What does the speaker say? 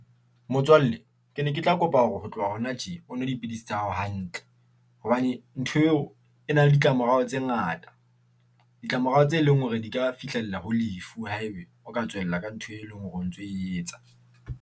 Motswalle ke ne ke tla kopa hore ho tloha hona tje o nwe dipidisi tsa hao hantle hobane ntho eo e na le ditlamorao tse ngata, ditlamorao tse leng hore di ka fihlella ho lefu. Ha ebe o ka tswella ka ntho, e leng hore o ntso e etsa.